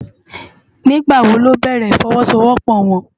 Nigbá wó lò bèrè ifòwòsówòpò wòn?